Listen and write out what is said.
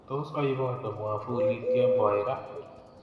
Tos aibote mwafulit kemboi raa